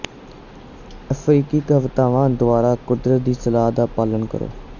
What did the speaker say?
ਅਫ਼ਰੀਕੀ ਕਹਾਵਤਾਂ ਦੁਆਰਾ ਕੁਦਰਤ ਦੀ ਸਲਾਹ ਦਾ ਪਾਲਣ ਕਰੋ